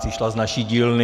Přišla z naší dílny.